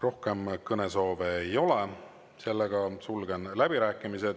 Rohkem kõnesoove ei ole, sulgen läbirääkimised.